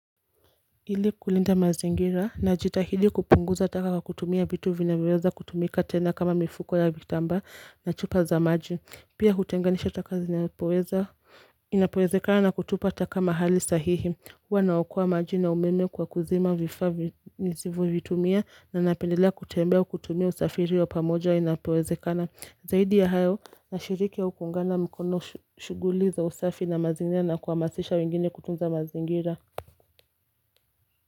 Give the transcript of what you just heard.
Ili kulinda mazingira najitahidi kupunguza taka kwa kutumia vitu vinavyoweza kutumika tena kama mifuko ya vitambaa na chupa za maji pia hutenganisha taka zinapoweza inapowezekana na kutupa taka mahali sahihi huwa naokoa maji na umeme kwa kuzima vifaa nizivyotumia na napendelea kutembea kutumia usafiri wa pamoja inapowezekana Zaidi ya hayo nashiriki au kuungana mkono shughuli za usafi na mazingira na kuhamasisha wengine kutunza mazingira.